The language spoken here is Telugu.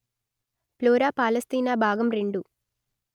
ఫ్లోరా పాలస్తీనా భాగం రెండు